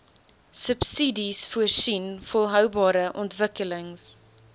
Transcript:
subsidiesvoorsien volhoubare ontwikkelings